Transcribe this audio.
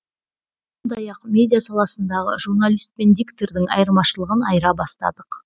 сондай ақ медиа саласындағы журналист пен диктордың айырмашылығын айыра бастадық